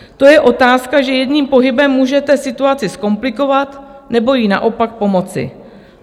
To je otázka, že jedním pohybem můžete situaci zkomplikovat, nebo jí naopak pomoci.